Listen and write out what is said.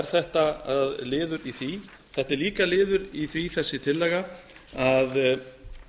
er þetta liður í því þetta er líka liður í því þessi tillaga að